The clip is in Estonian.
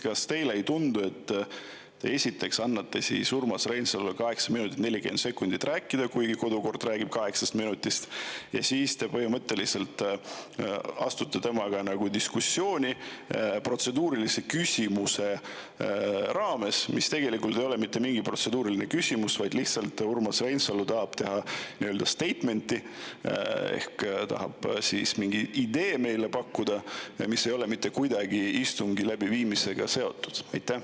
Kas teile ei tundu, et esiteks te andsite Urmas Reinsalule 8 minutit 40 sekundit rääkimiseks, kuigi kodukord räägib 8 minutist, ja siis te põhimõtteliselt astusite temaga diskussiooni protseduurilise küsimuse raames, mis tegelikult ei olnud mitte mingi protseduuriline küsimus, vaid lihtsalt statement, mida Urmas Reinsalu tahtis teha, et pakkuda meile mingi idee, mis ei ole mitte kuidagi istungi läbiviimisega seotud?